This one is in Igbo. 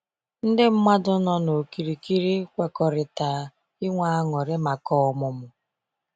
Ndị mmadụ nọ na okirikiri kwekọrịta ịnwe añụrị maka ọmụmụ.